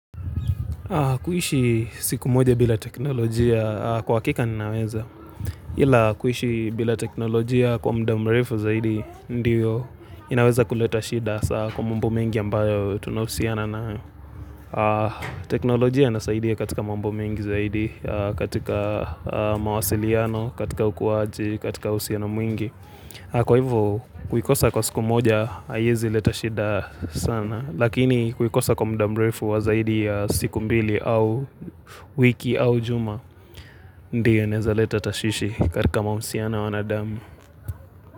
Kuishi siku moja bila teknolojia kwa akika ninaweza. Ila kuishi bila teknolojia kwa mdamrefu zaidi ndiyo inaweza kuleta shida hasa kwa mambo mengi ambayo tunausiana nayo teknolojia nasaidia katika mambo mengi zaidi, katika mawasiliano, katika ukuaji, katika usiano mwingi. Kwa hivyo, kuikosa kwa siku moja, aiezi leta shida sana, lakini kuikosa kwa mdamrefu wazaidi ya siku mbili au wiki au juma, ndio inaeza leta tashwishi katika mausiano wanadamu.